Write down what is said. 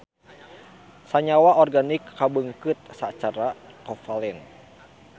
Sanyawa organik kabeungkeut sacara kovalen.